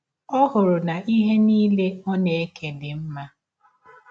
Ọ hụrụ na ihe nile ọ na - eke dị mma.